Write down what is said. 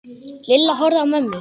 Lilla horfði á mömmu.